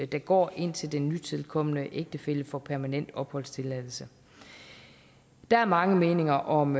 der går indtil den nytilkomne ægtefælle får permanent opholdstilladelse der er mange meninger om